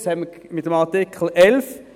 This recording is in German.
Dies bestreiten wir ja mit dem Artikel 11.